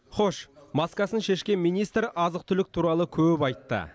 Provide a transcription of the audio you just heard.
хош маскасын шешкен министр азық түлік туралы көп айтты